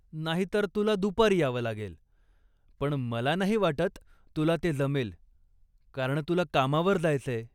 नाहीतर, तुला दुपारी यावं लागेल, पण मला नाही वाटत तुला ते जमेल, कारण तुला कामावर जायचंय.